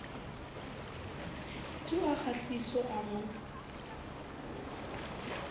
tu ha kgahliso a mo